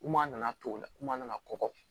Kuma nana to o la kuma nana kɔgɔ